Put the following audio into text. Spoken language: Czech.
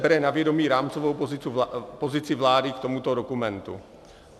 Bere na vědomí rámcovou pozici vlády k tomuto dokumentu.